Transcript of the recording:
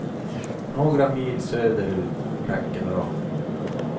Några mil söder ut räcker bra.